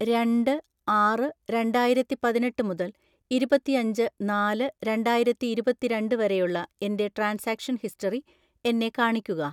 രണ്ട് ആറ് രണ്ടായിരത്തിപതിനെട്ട് മുതൽ ഇരുപത്തിയഞ്ച് നാല് രണ്ടായിരത്തി ഇരുപത്തിരണ്ട്‍ വരെയുള്ള എൻ്റെ ട്രാൻസാക്ഷൻ ഹിസ്റ്ററി എന്നെ കാണിക്കുക.